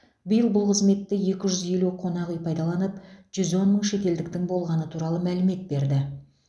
биыл бұл қызметті екі жүз елу қонақ үй пайдаланып жүз он мың шетелдіктің болғаны туралы мәлімет берді